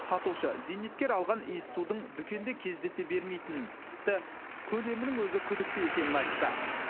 сатушы зейнеткер алған иіссудың дүкенде кездесе бермейтінін тіпті көлемінің өзі күдікті екенін айтты